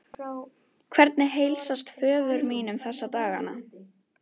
Hvernig heilsast föður mínum þessa dagana?